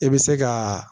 I bɛ se ka